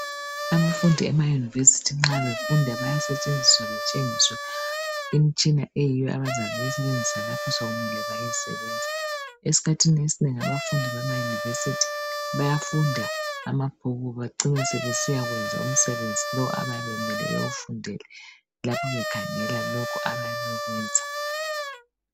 Abafundi emayunivesithi nxa befunda bayasetshenziswa betshengiswe imitshina eyiyo abazabe beyisebenzisa lapho sokumele baye sebesebenza. Esikhathini esinengi abafundi bemayunivesithi bayafunda amabhuku becine besiya kwenza umsebeni lo okumele bawufundele lapho bekhangela lokho abayabe bekwenza.